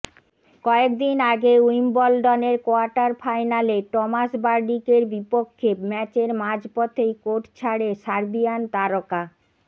কয়েকদিন আগে উইম্বলডনের কোয়ার্টার ফাইনালে টমাস বার্ডিকের বিপক্ষে ম্যাচের মাঝপথেই কোর্ট ছাড়ে সার্বিয়ান তারকা